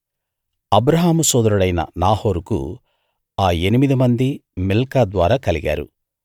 అబ్రాహాము సోదరుడైన నాహోరుకు ఆ ఎనిమిదిమందీ మిల్కా ద్వారా కలిగారు